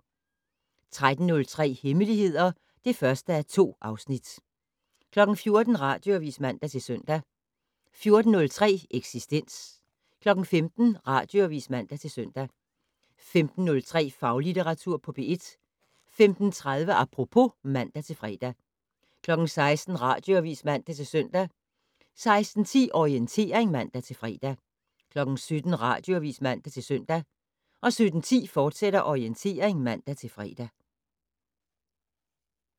13:03: Hemmeligheder (1:2) 14:00: Radioavis (man-søn) 14:03: Eksistens 15:00: Radioavis (man-søn) 15:03: Faglitteratur på P1 15:30: Apropos (man-fre) 16:00: Radioavis (man-søn) 16:10: Orientering (man-fre) 17:00: Radioavis (man-søn) 17:10: Orientering, fortsat (man-fre)